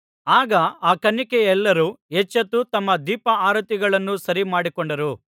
ಆಗ ಆ ಕನ್ನಿಕೆಯರೆಲ್ಲರು ಎಚ್ಚೆತ್ತು ತಮ್ಮ ದೀಪಾರತಿಗಳನ್ನು ಸರಿಮಾಡಿಕೊಂಡರು